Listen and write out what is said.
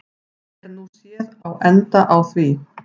Er nú séð á enda á því.